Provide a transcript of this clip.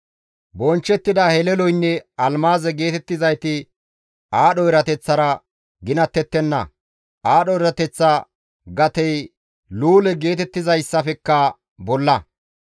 Bonchchettida heleloynne almaaze geetettizayti aadho erateththara ginattettenna; aadho erateththa gatey luule geetettizayssafekka bolla.